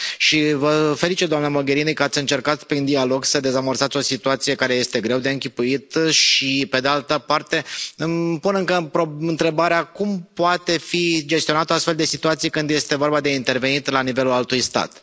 Și vă felicit doamna Mogherini că ați încercat, prin dialog, să dezamorsați o situație care este greu de închipuit și pe de altă parte îmi pun încă întrebarea cum poate fi gestionată o astfel de situație când este vorba de intervenit la nivelul altui stat.